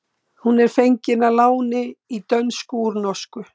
Hún er fengin að láni í dönsku úr norsku.